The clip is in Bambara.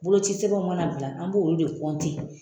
Bolocisɛbɛnw mana bila an b'olu de .